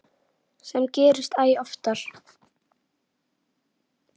Sem gerist æ oftar.